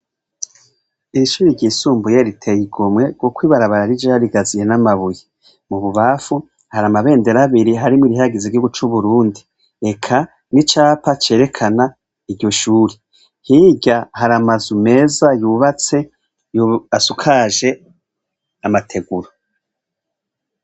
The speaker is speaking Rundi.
Iri shuri ryisumbuye riteye igomwe kuko ibarabara rijeyo rigaziye n'amabuyi mu bubafu hari amabendera abiri harimwo irihayagiza igihungu cacu c'uburundi eka n'icapa cerekana iryo shuri hirya hari ama nzu meza yubatse asakaje amateguru.